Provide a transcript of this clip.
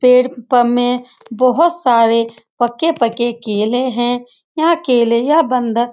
पेड़ पर हमे बहुत सारे पक्के-पक्के केले है। यह केले यह बंदर--